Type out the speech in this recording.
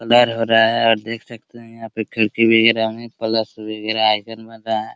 Colour हो रहा है और देख सकते हैं यहाँ पे खिड़की वगेरह हैं प्लस वगेरह आइकॉन बन रहा है ।